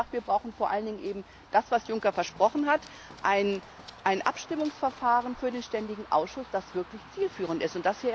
Ich habe gesagt, wir brauchen vor allen Dingen eben das, was Juncker versprochen hat ein Abstimmungsverfahren für den ständigen Ausschuss, das wirklich zielführend ist.